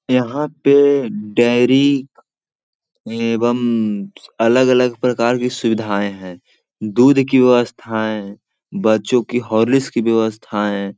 यहाँ पे डेयरी एवं अलग-अलग प्रकार की सुविधाएं हैं दूध की व्यवस्थाएं बच्चों की हॉर्लिक्स की व्यवस्थाएं --